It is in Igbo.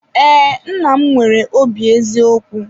Ee, nna m nwere obi eziokwu.